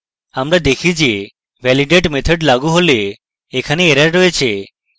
আমরা দেখি যে validate method লাগু হলে এখানে error রয়েছে